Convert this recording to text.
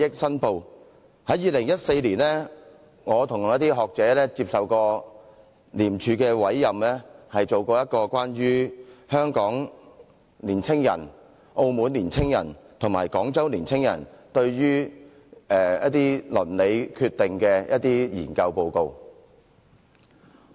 在2014年，我與一些學者曾接受廉署委任，進行一個有關香港年輕人、澳門年輕人和廣州年輕人對鄰里決定的研究。